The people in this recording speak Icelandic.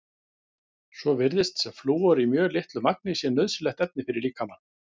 Svo virðist sem flúor í mjög litlu magni sé nauðsynlegt efni fyrir líkamann.